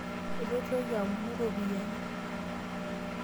Etu itoki aomonu ropiyani.